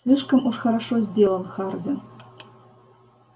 слишком уж хорошо сделан хардин